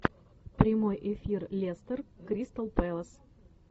прямой эфир лестер кристал пэлас